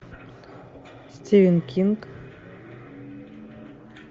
стивен кинг